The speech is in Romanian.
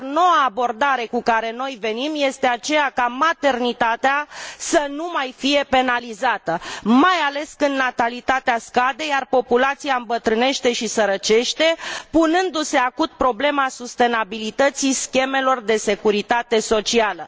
Noua abordare cu care noi venim este aceea ca maternitatea să nu mai fie penalizată, mai ales când natalitatea scade, iar populația îmbătrânește și sărăcește, punându se acut problema sustenabilității schemelor de securitate socială.